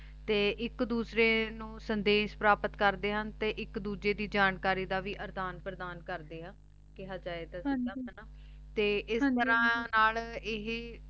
ਤੇ ਏਇਕ ਦੋਸ੍ਰਾਯ ਨੂ ਸੰਦੇਸ਼ ਪ੍ਰਾਪਤ ਕਰ੍ਦ੍ਯਾਂ ਤੇ ਏਇਕ ਦੋਜਯ ਦੀ ਜਾਣਕਾਰੀ ਦਾ ਵੀ ਅਰ੍ਦਾਨ ਪ੍ਰਦਾਨ ਕਰਦੇ ਆ ਕੇਹਾ ਜੇ ਤਾ ਹਾਂਜੀ ਤੇ ਹਾਂਜੀ ਹਾਂਜੀ ਏਸ ਤਰਹ ਨਾਲ ਇਹੀ